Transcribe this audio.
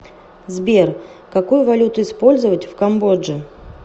сбер какую валюту использовать в камбодже